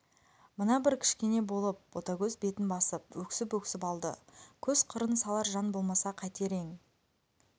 мына бір кішкене болып ботагөз бетін басып өксіп-өксіп алды көз қырын салар жан болмаса қайтер ең